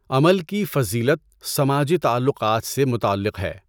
عمل کی فضیلت سماجی تعلقات سے متعلق ہے۔